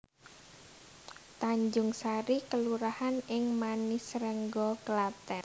Tanjungsari kelurahan ing Manisrengga Klathèn